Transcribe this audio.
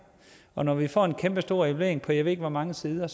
og når vi får en kæmpestor evaluering på jeg ved ikke hvor mange sider er